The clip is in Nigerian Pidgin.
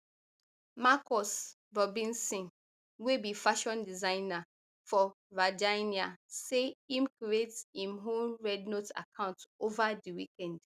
marcus robinson wey be fashion designer for virginia say im create im own rednote account ova di weekend